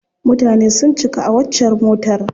Mutane sun cika a waccar motar.